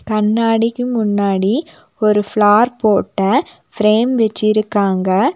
கண்ணாடிக்கு முன்னாடி ஒரு ஃபிளார் போட்ட ஃபிரேம் வெச்சிருக்காங்க.